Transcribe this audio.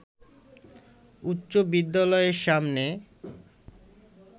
উচ্চ বিদ্যালয়ের সামনে